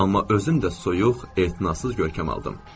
Amma özümdən də soyuq, etinasız görkəm aldım.